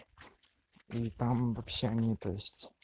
там вообще они то есть